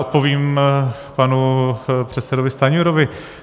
Odpovím panu předsedovi Stanjurovi.